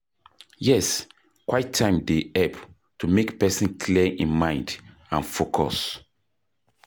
Yes, quiet time dey help to make pesin clear im mind and focus.